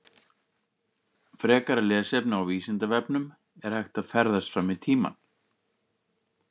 Frekara lesefni á Vísindavefnum: Er hægt að ferðast fram í tímann?